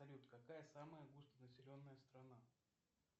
салют какая самая густонаселенная страна